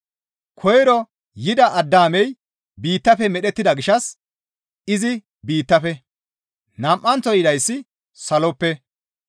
Koyro yida Addaamey biittafe medhettida gishshas izi biittafe. Nam7anththo yidayssi saloppe.